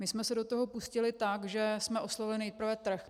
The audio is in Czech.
My jsme se do toho pustili tak, že jsme oslovili nejprve trh.